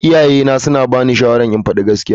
Iyayena suna bani shawarar in faɗi gaskiya.